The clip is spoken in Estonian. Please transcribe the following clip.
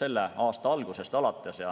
selle aasta algusest alates.